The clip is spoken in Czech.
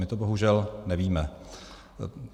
My to bohužel nevíme.